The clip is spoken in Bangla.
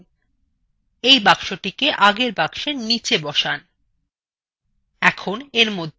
এই boxটিকে আগের process box নীচে বসান